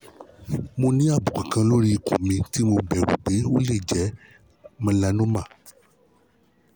mo ní àbùkù kan lórí ikun mi tí mo bẹ̀rù pé ó lè jẹ́ melanoma